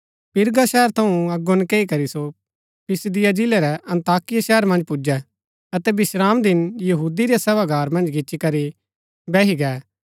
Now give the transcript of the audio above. पिरगा शहर थऊँ अगो नकैई करी सो पिसिदिया जिलै रै अन्ताकिया शहर मन्ज पुजै अतै विश्रामदिन यहूदी रै सभागार मन्ज गिच्ची करी बैही गै